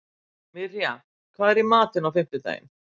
Mirja, hvað er í matinn á fimmtudaginn?